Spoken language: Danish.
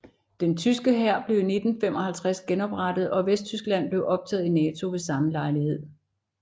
Den tyske hær blev i 1955 genoprettet og Vesttyskland blev optaget i NATO ved samme lejlighed